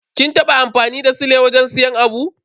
Kin taba amfani da sile wajen siyan abu?